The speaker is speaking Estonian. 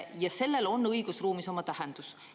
Ja sellel on õigusruumis oma tähendus.